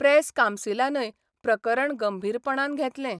Press कांवसिलानय प्रकरण गंभीरपणान घेतलें.